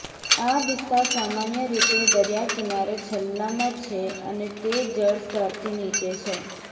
આ વિસ્તાર સામાન્ય રીતે દરિયા કિનારે છેલ્લામાં છે અને તે જળ સ્તરથી નીચે છે